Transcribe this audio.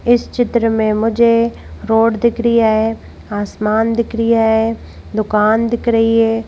इस चित्र में मुझे रोड दिख रही है आसमान दिख रही है दुकान दिख रही है।